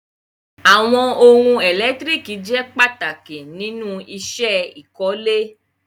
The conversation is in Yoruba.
Awọn ọhun èlẹ́tiríkì jẹ́ pàtàkì nínu iṣẹ́ ìkọ̀lẹ̀.